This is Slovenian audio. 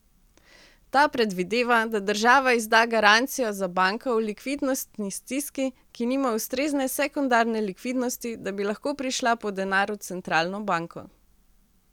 Ta predvideva, da država izda garancijo za banko v likvidnostni stiski, ki nima ustrezne sekundarne likvidnosti, da bi lahko prišla po denar v centralno banko.